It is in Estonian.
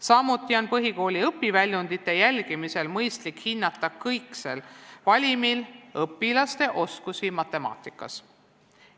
Samuti on põhikooli õpiväljundite jälgimisel mõistlik hinnata õpilaste kõikse valimi põhjal nende oskusi matemaatikas.